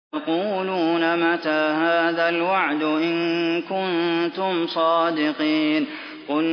وَيَقُولُونَ مَتَىٰ هَٰذَا الْوَعْدُ إِن كُنتُمْ صَادِقِينَ